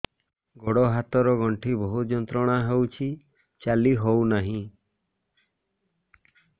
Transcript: ଗୋଡ଼ ହାତ ର ଗଣ୍ଠି ବହୁତ ଯନ୍ତ୍ରଣା ହଉଛି ଚାଲି ହଉନାହିଁ